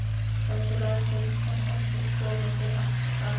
En þú lætur þetta ekki koma fyrir aftur, ha?